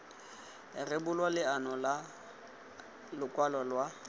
rebolwa leano la lokwalo lwa